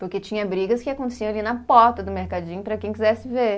Porque tinha brigas que aconteciam ali na porta do mercadinho para quem quisesse ver.